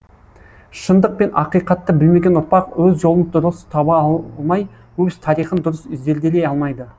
шындық пен ақиқатты білмеген ұрпақ өз жолын дұрыс таба алмай өз тарихын дұрыс зерделей алмайды